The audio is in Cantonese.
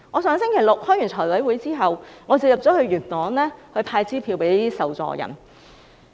上星期六開完財務委員會會議後，我便前往元朗派發支票給受助人。